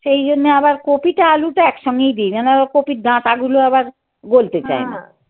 সেই জন্য আবার কপিটা আলুটা একসঙ্গেই দি. কপির ডাঁটাগুলো আবার গলতে চায় না.